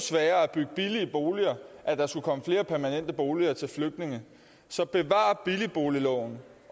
bygge billige boliger at der skulle komme flere permanente boliger til flygtninge så bevar billigboligloven